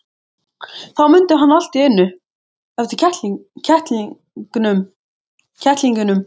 Þá mundi hann allt í einu eftir kettlingunum.